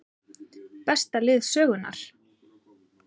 Besta lið sögunnar???